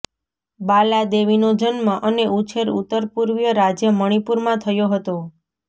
બાલા દેવીનો જન્મ અને ઉછેર ઉત્તર પૂર્વીય રાજ્ય મણિપુરમાં થયો હતો